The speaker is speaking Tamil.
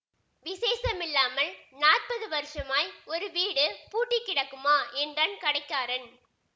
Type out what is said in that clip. விசேஷமில்லாமல் நாற்பது வருஷமாய் ஒரு வீடு பூட்டி கிடக்குமா என்றான் கடைக்காரன்